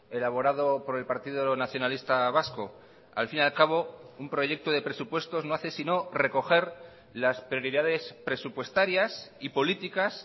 elaborado por el partido nacionalista vasco al fin y al cabo un proyecto de presupuestos no hace sino recoger las prioridades presupuestarias y políticas